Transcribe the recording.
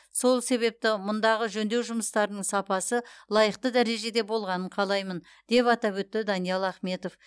сол себепті мұндағы жөндеу жұмыстарының сапасы лайықты дәрежеде болғанын қалаймын деп атап өтті даниал ахметов